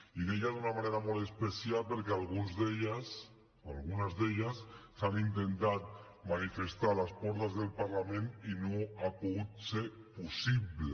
i deia d’una manera molt especial perquè algunes d’elles s’han intentat manifestar a les portes del parlament i no ha pogut ser possible